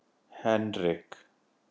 Henrik